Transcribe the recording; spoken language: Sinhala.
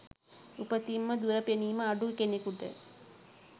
උපතින්ම දුර පෙනිම අඩු කෙනෙකුට